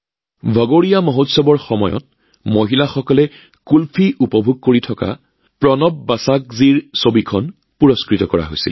ভগোৰীয়া উৎসৱৰ সময়ত মহিলাসকলে কুলফী উপভোগ কৰি থকা প্ৰণৱ বসাকজীৰ এখন ছবিও বঁটা প্ৰদান কৰা হয়